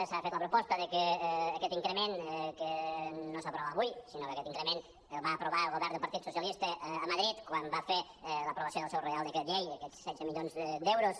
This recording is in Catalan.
s’ha fet la proposta de que aquest incre·ment que no s’aprovava avui sinó que aquest increment el va aprovar el partit so·cialista a madrid quan va fer l’aprovació del seu reial decret llei aquests setze milions d’euros